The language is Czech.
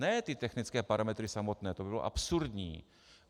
Ne ty technické parametry samotné, to by bylo absurdní.